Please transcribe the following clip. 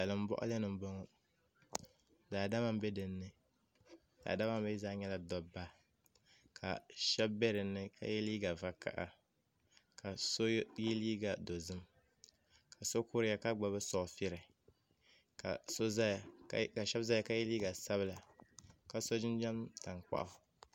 Salin boɣali ni n boŋo daadama n bɛ dinni daadama maa mii zaa nyɛla dabba ka shab bɛ dinni ka yɛ liiga vakaɣa ka so yɛ liiga dozim ka so kuriya ka gbubi soofili ka shab ʒɛya ka yɛ liiga sabila ka si jinjɛm tankpaɣu